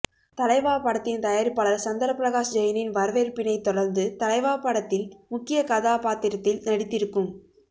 தலைவா படத்தின் தயாரிப்பாளர் சந்திரபிரகாஷ் ஜெயினின் வரவேற்பினைத் தொடர்ந்து தலைவா படத்தில் முக்கிய கதாபாத்திரத்தில் நடித்திருக்கும்